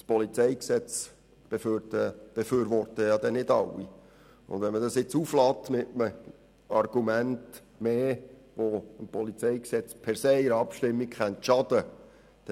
Das PolG wird nicht von allen befürwortet, und man will das nun nicht mit einem zusätzlichen Argument aufladen, das dem PolG per se in einer Abstimmung schaden könnte.